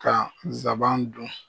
Ka nsaban dun